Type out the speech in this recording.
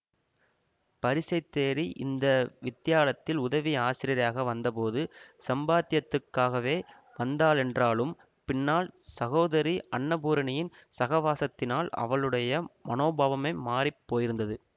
பரீஷை தேறி இந்த வித்யாலத்தில் உதவி ஆசிரியையாக வந்தபோது சம்பாத்யத்துக்காகவே வந்தாளென்றாலும் பின்னால் சகோதரி அன்னபூரணியின் சகவாசத்தினால் அவளுடைய மனோபாவமே மாறி போயிருந்தது